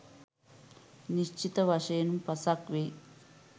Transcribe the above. නිශ්චිත වශයෙන්ම පසක් වෙයි.